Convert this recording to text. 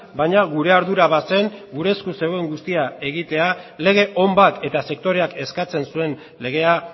baina gure ardura bazen gure esku zegoen guztia egitea lege on bat eta sektoreak eskatzen zuen legea